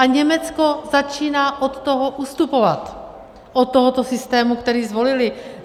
A Německo začíná od toho ustupovat, od tohoto systému, který zvolili.